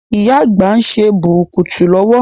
Ìyá Àgbà ń ṣe bùrùkùtù lọwọ́.